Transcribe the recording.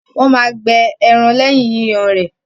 Wọ́n máa gbẹ ẹran lẹ́yìn Yíyan rẹ.